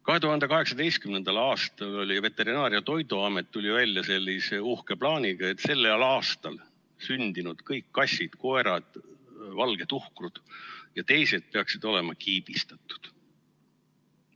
2018. aastal tuli Veterinaar- ja Toiduamet välja sellise uhke plaaniga, et kõik sellel aastal sündinud kassid, koerad, valgetuhkrud jt peaksid olema kiibistatud.